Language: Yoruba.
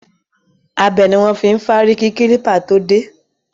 Abẹ ni wọn fi ń fárí kí kílípà tó dé